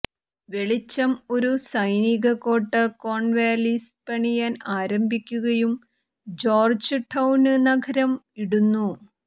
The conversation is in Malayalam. വെളിച്ചം ഒരു സൈനിക കോട്ട കോൺവാലിസ് പണിയാൻ ആരംഭിക്കുകയും ജോര്ജ്ടൌന് നഗരം ഇടുന്നു